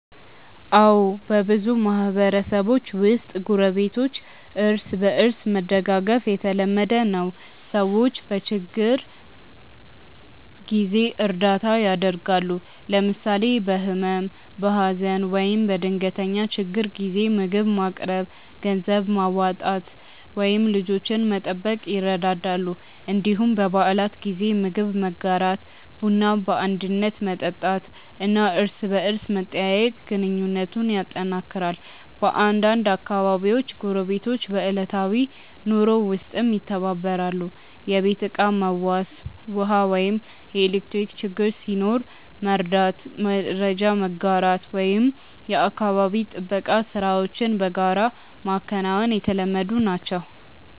አዎ፣ በብዙ ማህበረሰቦች ውስጥ ጎረቤቶች እርስ በእርስ መደጋገፍ የተለመደ ነው። ሰዎች በችግር ጊዜ እርዳታ ያደርጋሉ፣ ለምሳሌ በህመም፣ በሀዘን ወይም በድንገተኛ ችግር ጊዜ ምግብ ማቅረብ፣ ገንዘብ ማዋጣት ወይም ልጆችን መጠበቅ ይረዳዳሉ። እንዲሁም በበዓላት ጊዜ ምግብ መጋራት፣ ቡና በአንድነት መጠጣት እና እርስ በርስ መጠያየቅ ግንኙነቱን ያጠናክራል። በአንዳንድ አካባቢዎች ጎረቤቶች በዕለታዊ ኑሮ ውስጥም ይተባበራሉ፤ የቤት ዕቃ መዋስ፣ ውሃ ወይም ኤሌክትሪክ ችግር ሲኖር መርዳት፣ መረጃ መጋራት ወይም የአካባቢ ጥበቃ ሥራዎችን በጋራ ማከናወን የተለመዱ ናቸው።